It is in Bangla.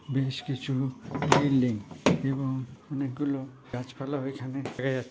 বেশ কিছু বিল্ডিং এবং অনেকগুলো গাছ পালা এখানেও দেখা যা--